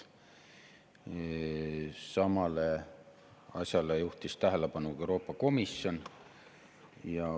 Samale asjale on tähelepanu juhtinud ka Euroopa Komisjon.